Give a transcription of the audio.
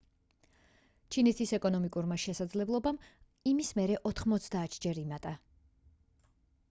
ჩინეთის ეკონომიკურმა შესაძლებლობამ იმის მერე 90-ჯერ იმატა